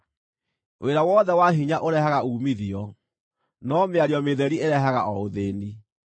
Wĩra wothe wa hinya ũrehaga uumithio, no mĩario mĩtheri ĩrehaga o ũthĩĩni.